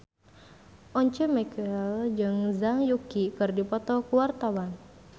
Once Mekel jeung Zhang Yuqi keur dipoto ku wartawan